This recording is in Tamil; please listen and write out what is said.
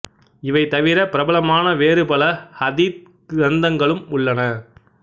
இவை தவிர பிரபலமான வேறு பல ஹதீத் கிரந்தங்களும் உள்ளன